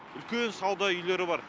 үлкен сауда үйлері бар